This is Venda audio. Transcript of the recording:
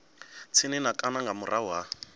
tsini na kana nga murahu